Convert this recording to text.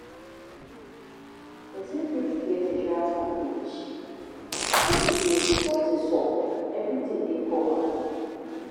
Person fot get insurance package wey be sey if something sup, everything dey covered